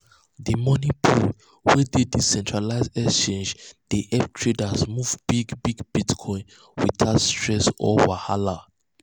the money pool wey dey decentralized exchange dey help traders move big big bitcoin without stress or wahala.